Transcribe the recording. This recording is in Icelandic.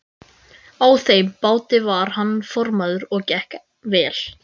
Á þeim báti var hann formaður og gekk vel.